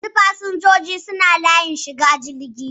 Yanzu fasinjojin suna layin shiga jirgi.